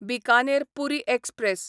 Bikaner Puri express